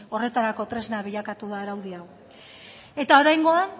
horretarako tresna bilakatu da araudi hau eta oraingoan